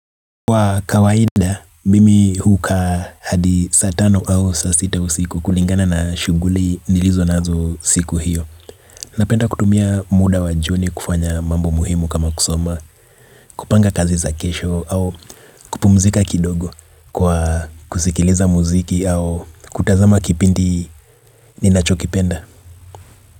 Kwa kawaida, mimi hukaa hadi saa tano au saa sita usiku kulingana na shuguli nilizonazo siku hiyo. Napenda kutumia muda wa jioni kufanya mambo muhimu kama kusoma. Kupanga kazi za kesho au kupumzika kidogo kwa kusikiliza muziki au kutazama kipindi ninachokipenda.